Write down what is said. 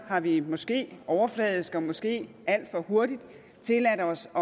har vi måske overfladisk og måske alt for hurtigt tilladt os